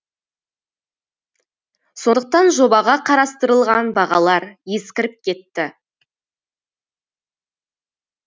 сондықтан жобаға қарастырылған бағалар ескіріп кетті